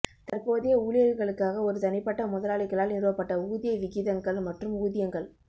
தற்போதைய ஊழியர்களுக்காக ஒரு தனிப்பட்ட முதலாளிகளால் நிறுவப்பட்ட ஊதிய விகிதங்கள் மற்றும் ஊதியங்கள்